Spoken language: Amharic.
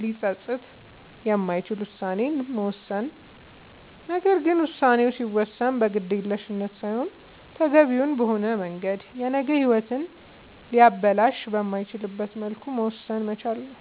ሊፀፅት የማይችል ውሳኔን መወሰን ነገር ግን ውሳኔ ሲወሰን በግዴለሽነት ሳይሆን ተገቢውን በሆነ መንገድ የነገ ሂወትን ሊያበላሽ በማይችልበት መልኩ መወሰን መቻል ነዉ